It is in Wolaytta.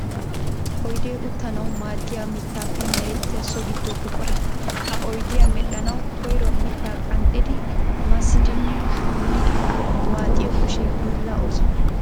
Oydde uttanawu maadiya mittappe merettiya so gido buqura. Ha oyddiya medhdhanawu koyro mitta qanxxiddi massiddinne molliddi waaxxiyo kushe hiilla ooso.